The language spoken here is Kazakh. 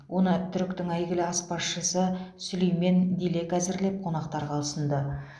оны түріктің әйгілі азпазшысы сүлеймен дилек әзірлеп қонақтарға ұсынды